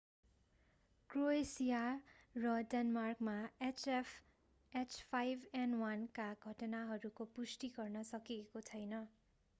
Croatia र डेनमार्कमा h5n1 का घटनाहरूको पुष्टि गर्न सकिएको छैन।